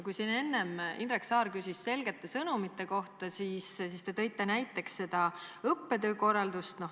Indrek Saar küsis enne selgete sõnumite kohta ja te tõite näiteks õppetöö korralduse.